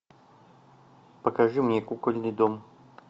покажи мне кукольный дом